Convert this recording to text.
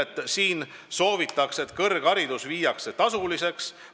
Manifestis soovitakse, et kõrgharidus muudetakse tasuliseks.